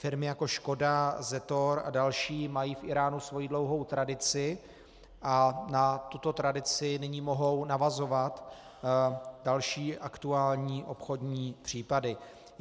Firmy jako Škoda, Zetor a další mají v Íránu svoji dlouhou tradici a na tuto tradici nyní mohou navazovat další aktuální obchodní případy.